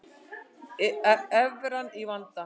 Evran í vanda